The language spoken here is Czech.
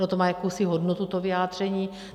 Ono to má jakousi hodnotu, to vyjádření.